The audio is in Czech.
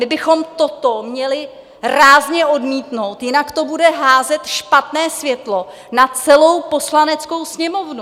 My bychom toto měli rázně odmítnout, jinak to bude házet špatné světlo na celou Poslaneckou sněmovnu.